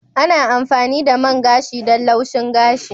Ana amfani da main gashi don laushin gashi.